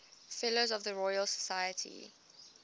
fellows of the royal society